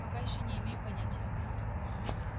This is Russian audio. пока ещё не имею понятия